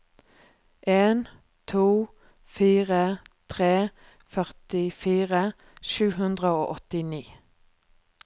en to fire tre førtifire sju hundre og åttini